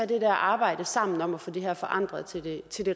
det der arbejde sammen om at få det her forandret til det